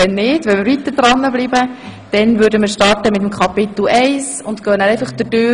Falls wir weiterfahren, würden wir mit dem Kapitel I anfangen und dann die einzelnen Artikel besprechen.